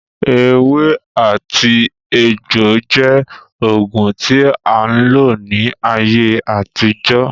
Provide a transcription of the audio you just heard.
Ewé àti egbò jẹ́ oògùn tí a ń lò ní ayé àtijọ́